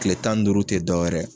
Kile tan ni duuru te dɔwɛrɛ ye